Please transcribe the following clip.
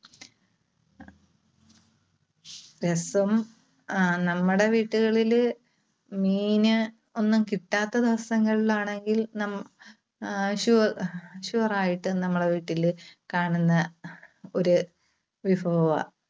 രസം അഹ് നമ്മുടെ വീട്ടുകളില് മീന് ഒന്നും കിട്ടാത്ത ദിവസങ്ങളിൽ ആണെങ്കിൽ നമു ആഹ് su~sure ആയിട്ടും നമ്മുടെ വീട്ടില് കാണുന്ന ഒരു വിഭവാ.